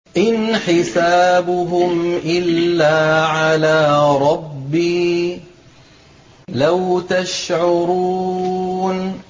إِنْ حِسَابُهُمْ إِلَّا عَلَىٰ رَبِّي ۖ لَوْ تَشْعُرُونَ